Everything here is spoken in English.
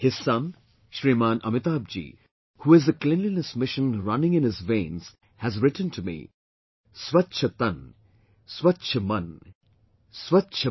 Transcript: His son Shriman Amitabh Ji, who has the cleanliness mission running in his veins, has written to me "Swachchh Tann, Swachchh Mann, Swachchh Bharat, Mera Parichay